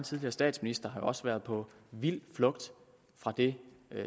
tidligere statsminister har jo også været på vild flugt fra det